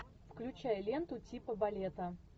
включай ленту типа балета